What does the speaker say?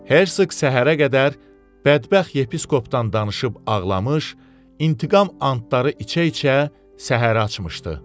Hersoq səhərə qədər bədbəxt Yepiskopdan danışıb ağlamış, intiqam andları içə-içə səhərə açmışdı.